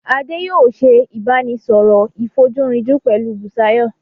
Adé yòó se ìbánisọ̀rọ̀ ìfojúrinjú pẹ̀lú Busayo.